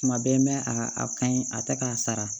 Tuma bɛɛ mɛ a a ka ɲi a tɛ k'a sara